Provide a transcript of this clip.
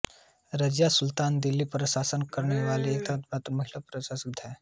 रज़िया सुल्तान दिल्ली पर शासन करने वाली एकमात्र महिला सम्राज्ञी बनीं